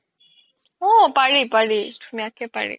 অ পাৰি পাৰি ধুনিয়া কে পাৰি